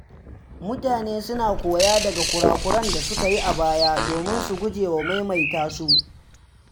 Mutane suna koya daga kura-kuren da suka yi a baya domin su gujewa maimaita su.